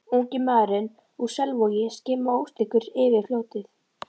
Ungi maðurinn úr Selvogi skimaði óstyrkur yfir fljótið.